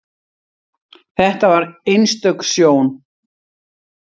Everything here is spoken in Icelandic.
Þetta var einstök sjón.